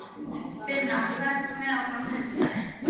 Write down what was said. Binna, ferð þú með okkur á miðvikudaginn?